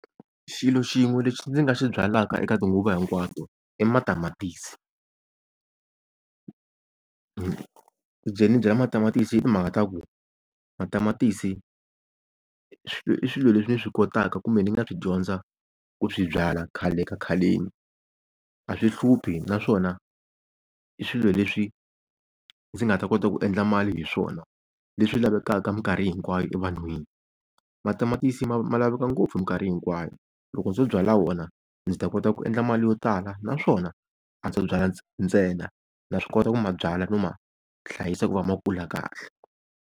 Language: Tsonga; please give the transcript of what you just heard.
Xilo xin'we lexi ndzi nga xi byalaka eka tinguva hinkwato i matamatisi. Ku ze ndzi byala matamatisi i timhaka ta ku, matamatisi i swilo leswi ni swi kotaka kumbe ndzi nga swi dyondza ku swi byala khale ka khaleni. A swi hluphi naswona i swilo leswi ndzi nga ta kota ku endla mali hi swona, leswi lavekaka mikarhi hinkwayo evanhwini. Matamatisi ma, ma laveka ngopfu mikarhi hinkwayo, loko ndzo byala wona ndzi ta kota ku endla mali yo tala. Naswona a ndzo byala ntsena na swi kota ku ma byala no ma hlayisa ku va ma kula kahle.